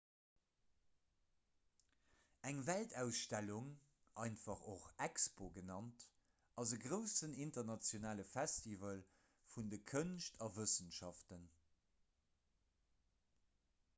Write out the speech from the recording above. eng weltausstellung einfach och expo genannt ass e groussen internationale festival vun de kënscht a wëssenschaften